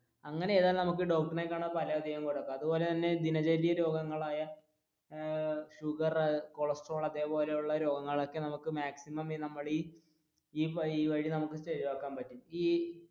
അങ്ങനെ ചെയ്‌താൽ അതുപോലെ തന്നെ ദിനചര്യ രോഗങ്ങൾ ആയ ഏർ sugar, cholesterol അതുപോലെത്തെ ഉള്ള രോഗങ്ങൾ ഒക്കെ നമ്മുക്ക് maximum നമ്മുടെ ഈ